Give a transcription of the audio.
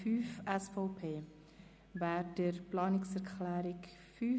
Wir fahren fort mit der Abstimmung über die Planungserklärung 5.